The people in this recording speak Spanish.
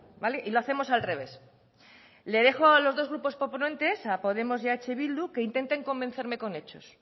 vale y lo hacemos al revés le dejo a los dos grupos proponentes a podemos y a eh bildu que intenten convencerme con hechos